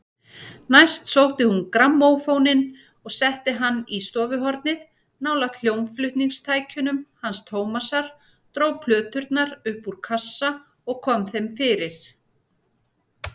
Næst sótti hún grammófóninn og setti hann í stofuhornið nálægt hljómflutningstækjunum hans Tómasar, dró plöturnar upp úr kassa og kom þeim fyrir.